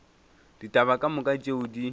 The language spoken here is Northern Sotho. ditaba ka moka tšeo di